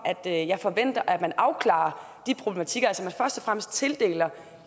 at jeg forventer at man afklarer de problematikker og fremmest tildeler